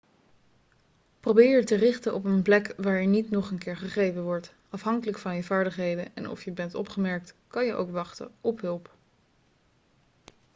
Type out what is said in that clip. probeer je te richten op een plek waar je niet nog een keer gegrepen wordt afhankelijk van je vaardigheden en of je bent opgemerkt kan je ook wachten op hulp